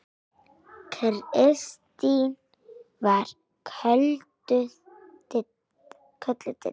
Kristín var kölluð Didda.